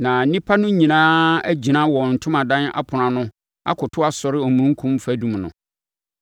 Na nnipa no nyinaa agyina wɔn ntomadan apono ano akoto asɔre omununkum fadum no.